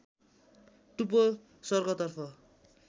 टुप्पो स्वर्गतर्फ